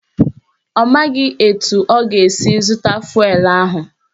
Ọ maghị etu ọ ga-esi zụta fụelụ ahụ.